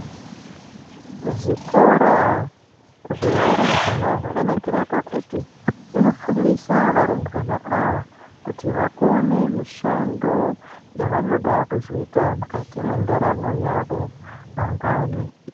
Zvikora zvevarumbwana zvakanakira pakuti zvinofundisa varumbwana ava kuti vakone mishando yavanoda kuzoita mukati mendaramo yavo mangwani.